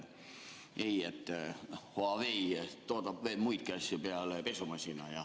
Ei, Huawei toodab muidki asju peale pesumasina.